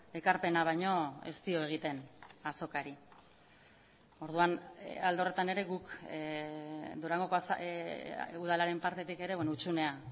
ekarpena baino ez dio egiten azokari orduan alde horretan ere guk durangoko udalaren partetik ere hutsunea